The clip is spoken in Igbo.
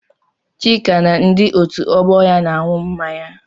Chika na ndi otu ọgbọ ya na-aṅụ mmanya.